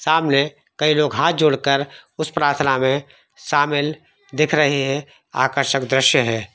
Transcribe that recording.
सामने कई लोग हाथ जोड़ कर उस प्राथना मै शामिल दिख रहे है आकर्षक दृश्य है।